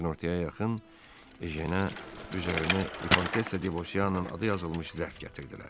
Günortaya yaxın Ejenə üzərində Vikontessa de Vossianın adı yazılmış zərf gətirdilər.